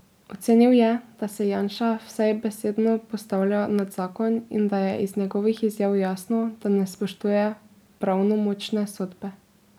Ocenil je, da se Janša vsaj besedno postavlja nad zakon in da je iz njegovih izjav jasno, da ne spoštuje pravnomočne sodbe.